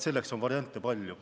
Selleks on variante palju.